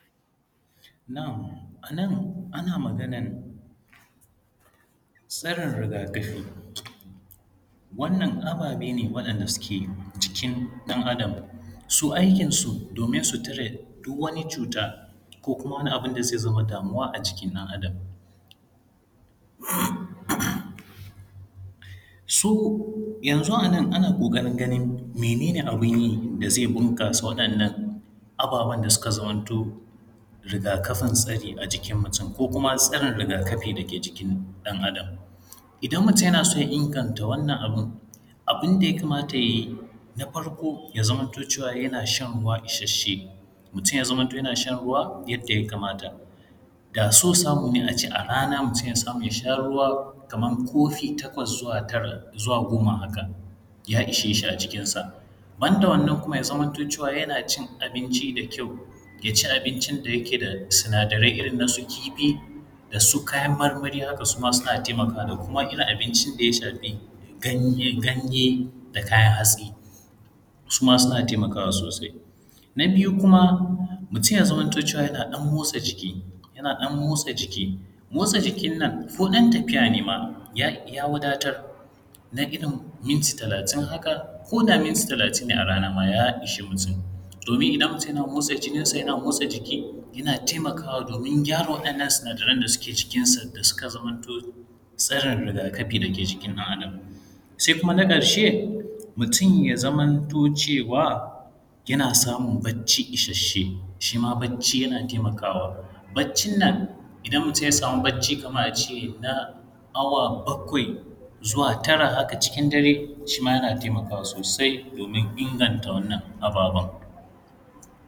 Na’am a nan ana maganan sanin rigakafi waɗannan ababe ne waɗanda suke cikin ɗan’Adam su aikin su domin su tare duk wani cuta ko wani abun da ze zama damuwa a jikin ɗan’Adam su yanzu a nan ana ganin mene ne abun yi da ze bunƙasa waɗannan ababan da suka zaman to rigakafin su ne a jiki mutum ko kuma tasirin rigakafin da jiki ɗan’Adan. Idan mutum yana so ya inganta wannan abun, abun da yaka mata ya yi na farko shi ne ya zamanto cewa yana shan ruwa ishashe, mutum ya zamanto yana shan ruwa yadda ya kamata da so samu ne shi ne mutum ya sha ruwa a rana kaman kofi takwas zuwa tara zuwa goma haka ya ishe shi a cikin sa ban da wannan ya zamanto cewa yana cin abinci da yawa ya ci abinci da yake da sinadarai irin na su kifi da kuma su kayan marmari, haka suma suna taimakawa da kuma irin abincin da suka shafi ganye-ganye da kayan hatsi suma suna taimakawa sosai. Na biyu kuma mutum ya zamanto cewa mutum yana ɗan motsa jiki yana motsa jikin nan koda tafiya nema ya wadatar na irin minti talatin haka, koda minti talatin ne ma a rana ya ishe mutum domin mutum idan yana motsa jininsa yana motsa jiki yana taimakawa domin gyara waɗannan sinadarai da suke jikinsa suka zamanto tsirin rigakafi dake jikin ɗan’Adam. Se kuma na ƙarshe mutum ya zamanto cewa yana samun bacci ishashen shi ma bacci yana taimakawa, baccin nan idan mutum ya samu bacci kaman a ce na awa bakwai zuwa tara haka cikin dare shi ma yana taimakawa sosai domin inganta wannan ababen.